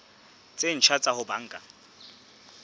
tse ntjha tsa ho banka